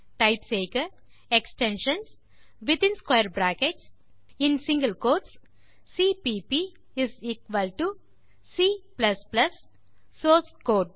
type செய்க extensions within square brackets மற்றும் single quotes CPP is equal to C code மற்றும் source கோடு